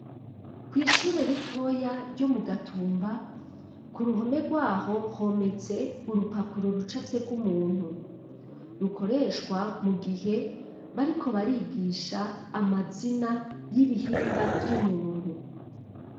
Kw'ishure ritoya, ryo mu Gatumba, ku ruhome rw'aho, hometse urupapuro, rucafyeko umuntu; rukoreshwa, mu gihe, bariko barigisha, amazina y'ibihimba, vy'umuntu.